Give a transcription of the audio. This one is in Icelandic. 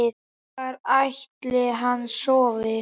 Hvar ætli hann sofi?